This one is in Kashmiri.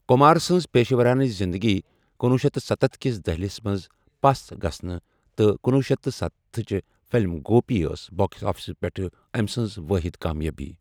کُمار سنز پیشورانہٕ زِندگی کنوُہ شیتھ سَتتھ كِس دہِلس منز پس گژھنہِ تہٕ کنوُہ شیتھ سَتتھ تٕھچہِ فِلِم 'گوپی' ٲس باکس آفِسَس پیٹھ أمہِ سٕنٛز وٲحِد کامیٲبی۔